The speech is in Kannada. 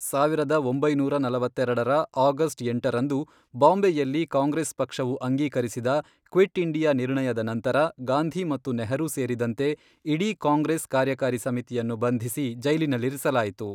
ಸಾವಿರದ ಒಂಬೈನೂರ ನಲವತ್ತೆರೆಡರ ಆಗಸ್ಟ್ ಎಂಟರಂದು, ಬಾಂಬೆಯಲ್ಲಿ ಕಾಂಗ್ರೆಸ್ ಪಕ್ಷವು ಅಂಗೀಕರಿಸಿದ ಕ್ವಿಟ್ ಇಂಡಿಯಾ ನಿರ್ಣಯದ ನಂತರ, ಗಾಂಧಿ ಮತ್ತು ನೆಹರೂ ಸೇರಿದಂತೆ ಇಡೀ ಕಾಂಗ್ರೆಸ್ ಕಾರ್ಯಕಾರಿ ಸಮಿತಿಯನ್ನು ಬಂಧಿಸಿ ಜೈಲಿನಲ್ಲಿರಿಸಲಾಯಿತು.